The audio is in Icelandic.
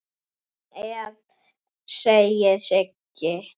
Sem hann er, segir Sigga.